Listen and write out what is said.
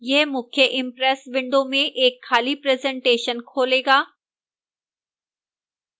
यह मुख्य impress window में एक खाली presentation खोलेगा